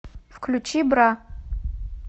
включи бра